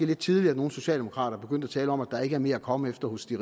lidt tidligt at nogle socialdemokrater begynder at tale om at der ikke er mere at komme efter hos de